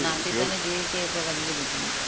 ഈ നാട്ടിതന്നെ ജീവിക്കാ ഇപ്പം വല്യ ബുദ്ധിമുട്ടാ.